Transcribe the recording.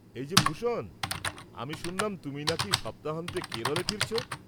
এই যে ভূষণ, আমি শুনলাম তুমি নাকি সপ্তাহান্তে কেরলে ফিরছ?